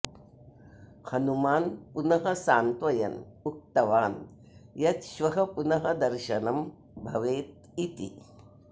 हनुमान् पुनः सान्त्वयन् उक्तवान् यत् श्वः पुनः दर्शनं भवेत् इति